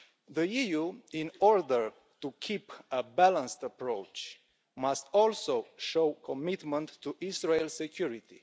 The EU, in order to keep a balanced approach, must also show commitment to Israel's security.